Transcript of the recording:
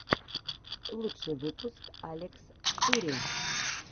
лучший выпуск алекстури